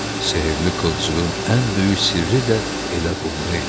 Sehirli qılcığın ən böyük sirri də elə bunda idi.